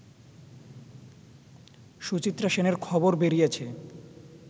সুচিত্রা সেনের খবর বেরিয়েছে